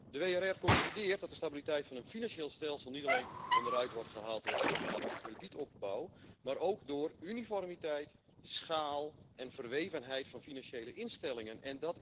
De WRR concludeert dat de stabiliteit van het financieel stelsel niet alleen onderuit wordt gehaald door overmatige kredietopbouw, maar ook door uniformiteit, schaal en verwevenheid van financiële instellingen.